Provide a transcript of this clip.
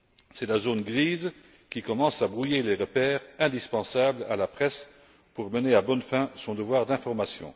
C'est la zone grise qui commence à brouiller les repères indispensables à la presse pour mener à bonne fin son devoir d'information.